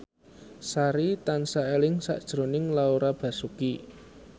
Sari tansah eling sakjroning Laura Basuki